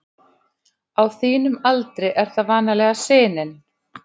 Á þínum aldri er það vanalega sinin.